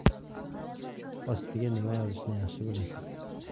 Ostiga nima yozishni yaxshi bilasiz.